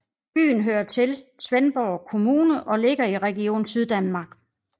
Byen hører til Svendborg Kommune og ligger i Region Syddanmark